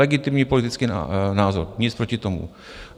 Legitimní politický názor, nic proti tomu.